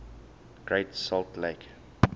great salt lake